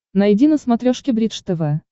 найди на смотрешке бридж тв